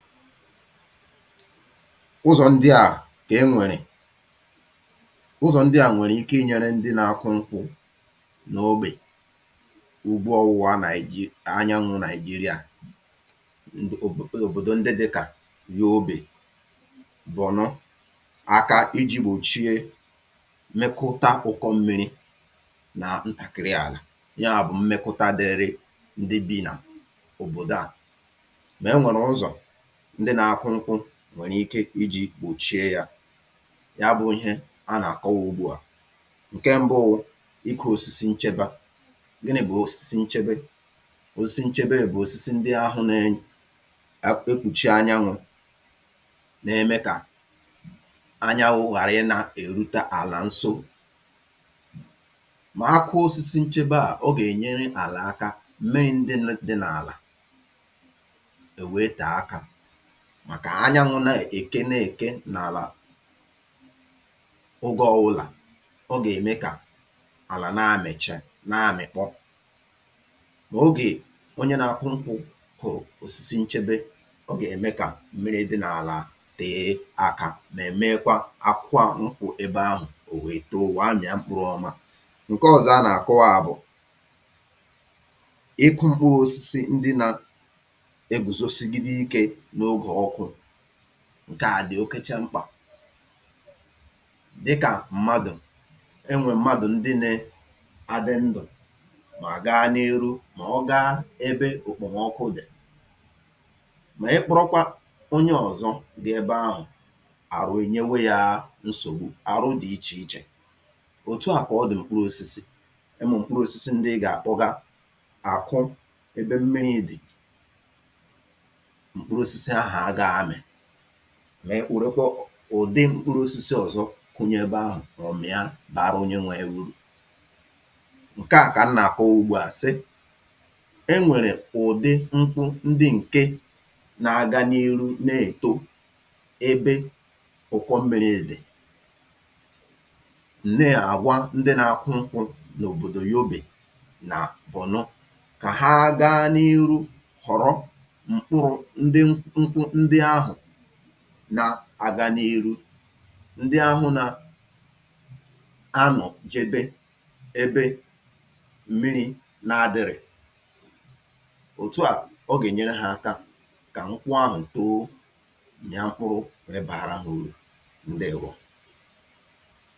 Ụzọ̀ ndị a kè e nwèrè, ụzọ̀ ndị a nwèrè ike inyērē ndị nakụ nkwụ̄ n’ogbè n’ụ̀gbọ ọnwụwa Nàị̀ji anyanwụ̄ Nàị̀jịrịā, n’òbòdò ndị dịkà Yobè, Bọ̀nọ aka ijī gbòchie nnukwuta ụ̀kọ mmīrī nà ntàkịrị àlà yabụ̀ mmekọta dịịrị ndị bị nà òbòda a Mè e nwèrụ̀ ụzọ̀ ndị nā-akụ nkwụ̄ nwèrè ike ijī gbòchie yā, ya bụ̄ ihe a nà-akọ ùgbu a, ǹke mbụ wụ ịkụ̄ osisi ncheba. Gịnị̄ bụ̀ osisi nchebe? Osisi nchebe bụ̀ osisi ndị ahụ̄ nee negbùchi anyanwụ̄ neme kà anyanwụ̄ ghàrị ị nā-èrute àlà ǹso, mà ha kụọ osisi ncheba a, ọ gènyere àlà aka mee ǹdunū dị n’àlà è wee tèe akā màkà anyanwụ̄ na-èke ne-èke n’àlà ogē ọ̀wụlà ọ gème kà àlà namìcha naamị̀kpọ mò ogè onye nakụ nkwụ̄ kụ̀rụ̀ osisi nchebe, ọ gème kà mmirī dị n’àlà tèe akā mè meekwa akwụkwọ nkwụ̄ ebe ahụ̀ èto wèe mị̀a mkpụrụ̄ ọma Ǹkọ ọzọ a nàkụwa bụ̀ ịkụ̄ mkpụrụ osisi ndị nā-egòzosigide ikē n’ogè ọkụ̄, ǹka a dị̀ okacha mkpà, dịkà mmadụ̀, e nwèrè mmadụ̀ ndị nē adị ndụ̀ mọ̀ gaa n’iru mọ̀ ọ gaa ebe èkpòmọkụ dị̀ mà ị kpụrụkwa onye ọ̀zọ gẹẹ eba ahụ̀, àrụ ènyewe yāā nsògbu, àrụ dị ichè ichè Òtu a kà ọ dị̀ mkpụrụ̄osisi, ụmụ̀ mkpụrụosisi ị gàkụga àkụ ebe mmirī dị̀, mkpụrụosisi ahụ̀ agāā amị̀ mị gborokwọ ụ̀dị mkpụrụosisi ọ̀zọ kunye ebe ahụ̀ ọ mịa bàara onye nwe ya urù. Ǹka a kà m nàkọwa ugba a sị, e nwèrè ụ̀dị̀ nkwụ ndị ǹke naga n’iru ne-èto ebe ùkọ mmiri dị̀ na-àgwa ndị nā-akụ nkwụ̄ n’òbòdò Yobè nà Bọ̀nọ̀ ka ha gaa n’iru họ̀rọ m̀kpụrụ̄ ndị mkpụ ndị ahụ̀ na-aga n’iru, ndị ahụ̄ na-anọ̀ jede ebe mirī adịrị̄ị̄ Òtu a, ọ gènyere hā aka kà nkwụ ahụ̀ too, mịa mkpụrụ wèe baara hā urù, ǹdeèwo